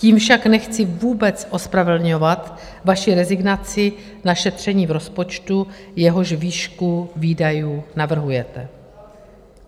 Tím však nechci vůbec ospravedlňovat vaši rezignaci na šetření v rozpočtu, jehož výšku výdajů navrhujete.